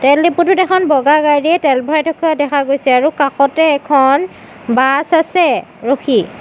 তেল ডিপুটোত এখন বগা গাড়ীৰিয়ে তেল ভৰাই থকা দেখা গৈছে আৰু কাষতে এখন বাছ আছে ৰখি।